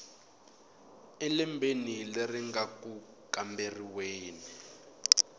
elembeni leri nga ku kamberiweni